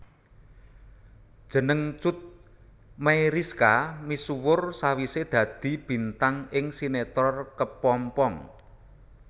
Jeneng Cut Meyriska misuwur sawisé dadi bintang ing sinetron Kepompong